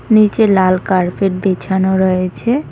নিচে লাল কার্পেট বিছানো রয়েছে।